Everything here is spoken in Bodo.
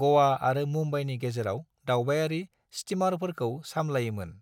ग'वा आरो मुम्बाइनि गेजेराव दावबायारि स्टीमारफोरखौ सामलायोमोन।